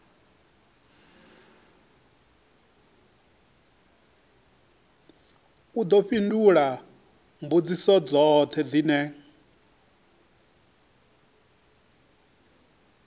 ḓo fhindula mbudziso dzoṱhe dzine